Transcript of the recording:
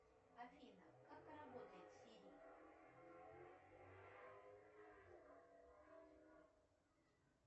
афина как работает сири